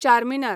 Charminar